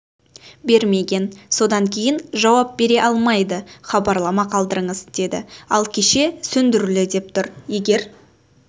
бермеген содан кейін жауап бере алмайды хабарлама қалдырыңыз деді ал кеше сөндірулі деп тұр егер